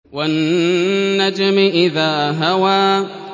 وَالنَّجْمِ إِذَا هَوَىٰ